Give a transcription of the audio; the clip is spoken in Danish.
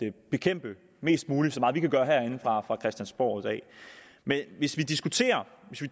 at bekæmpe mest muligt så meget som vi kan gøre herinde fra fra christiansborg i dag men hvis vi